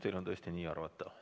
Teil on tõesti see õigus nii arvata.